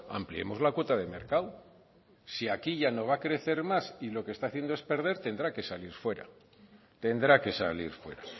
ampliemos la cuota de mercado si aquí ya no va a crecer más y lo que está haciendo es perder tendrá que salir fuera tendrá que salir fuera